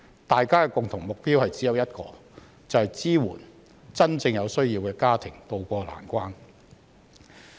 大家的共同目標只有一個，就是支援真正有需要的家庭渡過難關。